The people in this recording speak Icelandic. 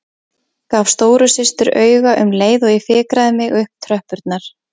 Gaf stóru systur auga um leið og ég fikraði mig upp tröppurnar.